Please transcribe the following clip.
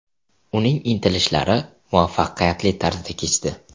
Uning intilishlari muvaffaqiyatli tarzda kechdi.